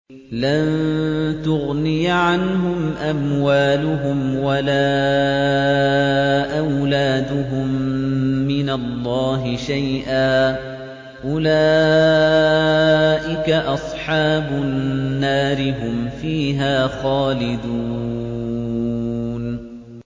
لَّن تُغْنِيَ عَنْهُمْ أَمْوَالُهُمْ وَلَا أَوْلَادُهُم مِّنَ اللَّهِ شَيْئًا ۚ أُولَٰئِكَ أَصْحَابُ النَّارِ ۖ هُمْ فِيهَا خَالِدُونَ